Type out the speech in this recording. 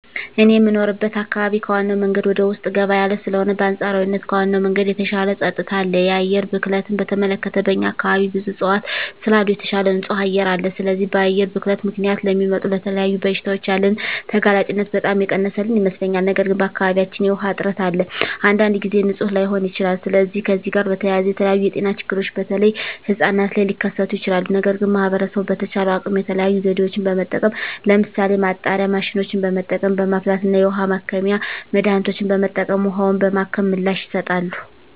እኔ የምኖርበት አካባቢ ከዋናው መንገድ ወደ ውስጥ ገባ ያለ ስለሆነ በአንፃራዊነት ከዋናው መንገድ የተሻለ ፀጥታ አለ። የአየር ብክለትን በተመለከተ በእኛ አካባቢ ብዙ እፅዋት ስላሉ የተሻለ ንፁህ አየር አለ። ስለዚህ በአየር ብክለት ምክንያት ለሚመጡ ለተለያዩ በሽታዎች ያለንን ተጋላጭነት በጣም የቀነሰልን ይመስለኛል። ነገር ግን በአካባቢያችን የዉሃ እጥረት አለ። አንዳንድ ጊዜም ንፁህ ላይሆን ይችላል። ስለዚህ ከዚህ ጋር በተያያዘ የተለያዩ የጤና ችግሮች በተለይ ህጻናት ላይ ሊከስቱ ይችላሉ። ነገር ግን ማህበረሰቡ በተቻለው አቅም የተለያዩ ዘዴዎችን በመጠቀም ለምሳሌ ማጣሪያ ማሽኖችን በመጠቀም፣ በማፍላት እና የውሀ ማከሚያ መድሀኒቶችን በመጠቀም ውሀውን በማከም ምላሽ ይሰጣሉ።